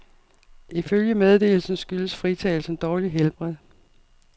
Ifølge meddelelsen skyldes fritagelsen dårligt helbred.